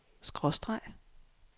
skråstreg